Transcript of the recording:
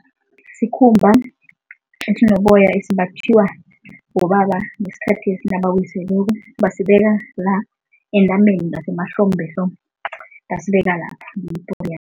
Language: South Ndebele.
Sikhumba esinoboya esimbathiwa bobaba ngesikhathi nabawiseleko. Basibeka la entameni ngasemahlombe so, basibeka lapha